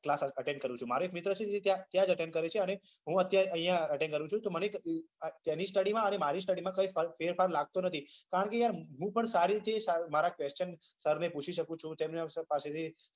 class attend કરું છુ હું અત્યારે અહિયાં attend કરું છું તેની study માં અને મારી study માં કઈ ફેરફાર લગતો નથી હું પણ મારા sir ને પૂછી શકું છુ